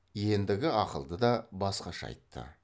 ендігі ақылды да басқаша айтты